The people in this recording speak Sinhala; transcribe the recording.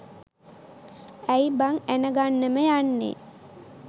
ඇය් බං ඇණ ගන්නම යන්නෙ